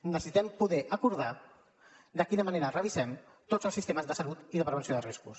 necessitem poder acordar de quina manera revisem tots els sistemes de salut i de prevenció dels riscos